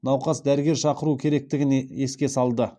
науқас дәрігер шақыру керектігін еске салды